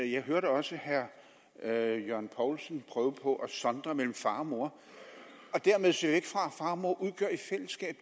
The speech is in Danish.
jeg hørte også herre herre jørgen poulsen prøve på at sondre mellem far og mor og dermed se væk fra at far og mor i fællesskab